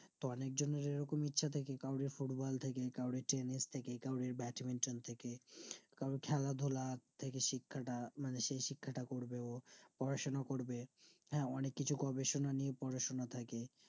তো অনিক জানার এই রকম ইচ্ছা থাকে কাউরির football থেকে কাউরির tennis থাকে কাউরির badminton থাকে কারো খেলাধুলা সেজে শিক্ষাটা মানে সেই শিক্ষাটা করবো পড়াশোনা করবো হ্যাঁ অনিককিছু গবেষণা নিয়ে পড়াশোনা থাকে